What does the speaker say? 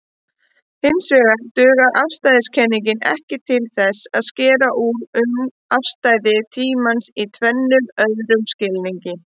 Hinsvegar dugar afstæðiskenningin ekki til að skera úr um afstæði tímans í tvennum öðrum skilningi.